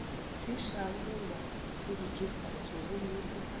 fišago goba seruthufatši gomme sefahlogo